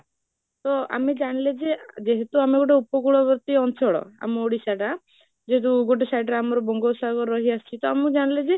ତ ଆମେ ଜାଣିଲେ ଯେ ଯେହେତୁ ଆମେ ଗୋଟେ ଉପକୂଳଗତି ଅଞ୍ଚଳ ଆମ ଓଡିଶାଟା, ଯେ ଯୋଉ ଯୋଉ ଗୋଟେ side ରେ ଆମର ଗୋଟେ ବଙ୍ଗ ସାଗର ରହି ଆସିଛି ତ ଆମେ ଜାଣିଲେ ଯେ